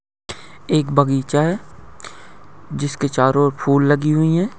एक बगीचा है जिसके चारों ओर फूल लगी हुई हैं।